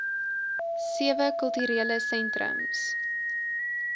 sewe kulturele sentrums